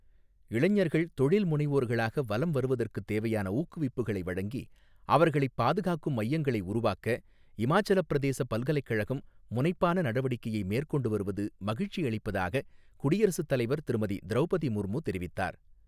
இளைஞர்கள் தொழில் முனைவோர்களாக வலம் வருவதற்குத் தேவையான ஊக்குவிப்புகளை வழங்கி அவர்களைப் பாதுகாக்கும் மையங்களை உருவாக்க, இமாச்சலப்பிரதேசப் பல்கலைக்கழகம் முனைப்பான நடவடிக்கையை மேற்கொண்டு வருவது மகிழ்ச்சியளிப்பதாகக் குடியரசுத்தலைவர் திருமதி திரௌபதி முர்மு தெரிவித்தார்.